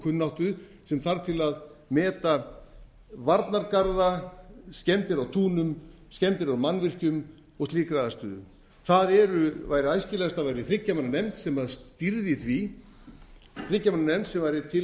kunnáttu sem þarf til að meta varnargarða skemmdir á túnum skemmdir á mannvirkjum og slíkri aðstöðu þar er æskilegast að væri þriggja hann nefnd sem stýrði því þriggja manna nefnd sem